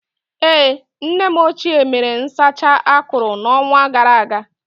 Ee, nne m ochie mere nsacha akụrụ n'ọnwa gara aga.